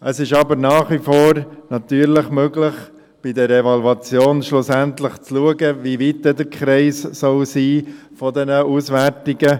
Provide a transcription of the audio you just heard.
Es ist aber nach wie vor natürlich möglich, bei der Evaluation schlussendlich zu schauen, wie weit dann der Kreis dieser Auswertungen sein soll.